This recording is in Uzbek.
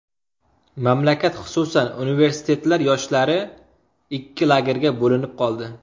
Mamlakat, xususan, universitetlar yoshlari ikki lagerga bo‘linib qoldi.